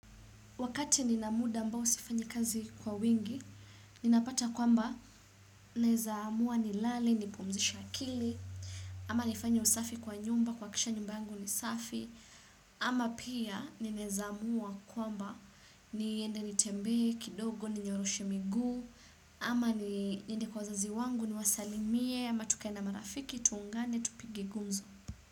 Wakati nina muda ambao sifanyi kazi kwa wingi, ninapata kwamba naeza amua nilale, nipumzishe akili, ama nifanye usafi kwa nyumba, kuhakikisha nyumba yangu ni safi, ama pia ninaeza amua kwamba niende nitembee, kidogo, ninyoroshe miguu, ama niende kwa wazazi wangu niwasalimie, ama tukae na marafiki, tuungane, tupige gunzo.